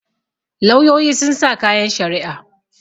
lauyoyi sun sa kayan shari'a